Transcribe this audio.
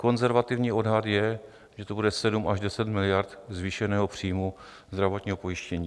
Konzervativní odhad je, že to bude 7 až 10 miliard zvýšeného příjmu zdravotního pojištění.